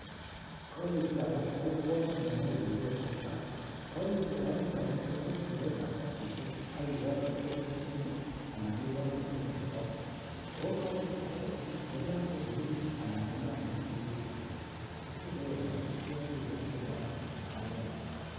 Colliflower ko ingwot nemoche ribetab baraak, cowlii flower initon kotos indie kartasisiek ak ikonor en frigit anan ikonor en ole kaitit, oko cowliflower ichuton I yenaam kobiririt ana yenaam kotuekitun sogeek, koyoche iboishoen noton en sait noton